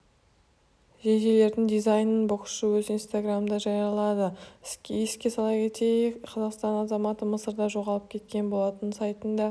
жейделердің дизайннын боксшы өз инстаграмында жариялаы еске сала кетейік қазақстаннның азаматы мысырда жоғалып кеткен болатын сайтында